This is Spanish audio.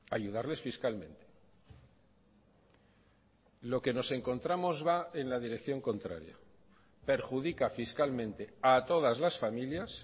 ayudarles fiscalmente lo que nos encontramos va en la dirección contraria perjudica fiscalmente a todas las familias